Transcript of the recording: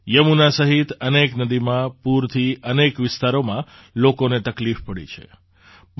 યમુના સહિત અનેક નદીમાં પૂરથી અનેક વિસ્તારમાં લોકોને તકલીફ પડી છે